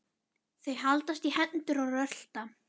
Þau haldast í hendur og rölta.